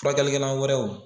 Furakɛlikɛla wɛrɛw